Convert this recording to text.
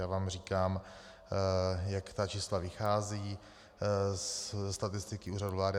Já vám říkám, jak ta čísla vycházejí ze statistiky Úřadu vlády.